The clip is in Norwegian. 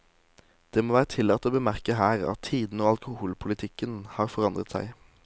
Det må være tillatt å bemerke her, at tidene og alkoholpolitikken har forandret seg.